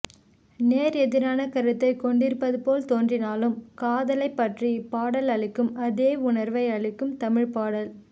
நேர் எதிரான கருத்தைக் கொண்டிருப்பது போல் தோன்றினாலும் காதலைப் பற்றி இப்பாடல் அளிக்கும் அதே உணர்வை அளிக்கும் தமிழ் பாடல்